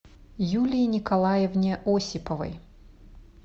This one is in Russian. юлии николаевне осиповой